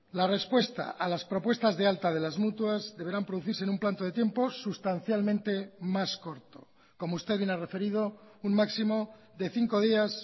la respuesta a las propuestas de alta de las mutuas deberán producirse en un planto de tiempos sustancialmente más corto como usted bien ha referido un máximo de cinco días